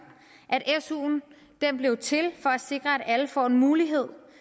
at su blev til for at sikre at alle får en mulighed